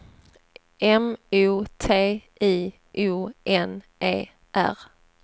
M O T I O N E R